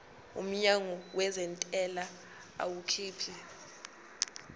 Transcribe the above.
umnyango wezentela awukhiphi